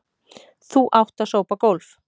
Þú átt að sópa gólf.